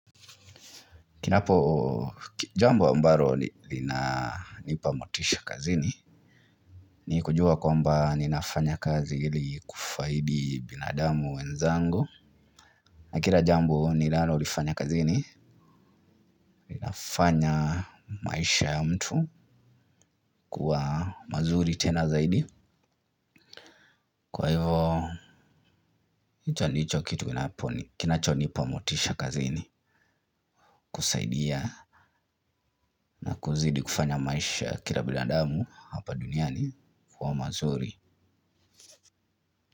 Kinapo jambo ambalo linanipa motisha kazini ni kujua kwamba ninafanya kazi ili kufaidi binadamu wenzangu na kila jambo ninalolifanya kazini linafanya maisha ya mtu kuwa mazuri tena zaidi kwa hivyo icho ndicho kitu kinapo kinachonipa motisha kazini kusaidia na kuzidi kufanya maisha kila binadamu hapa duniani kuwa mazuri.